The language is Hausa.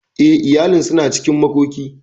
Eh, iyalin suna cikin makoki.